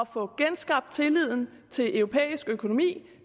få genskabt tilliden til europæisk økonomi